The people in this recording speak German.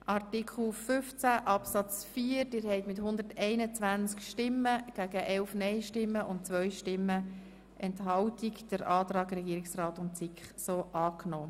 Der Grosse Rat hat den Antrag SiK und Regierungsrat zu Artikel 15 angenommen.